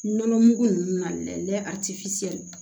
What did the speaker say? Nɔnɔ mugu ninnu na dɛ a ti